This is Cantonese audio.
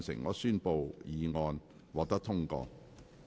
我宣布議案獲得通過。